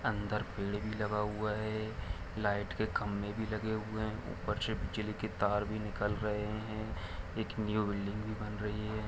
अंदर पेड़ भी लगा हुआ है लाईट के खम्बे भी लगे हुए है के तार भी निकल रहे है एक न्यू बिल्डिंग भी बन रही है।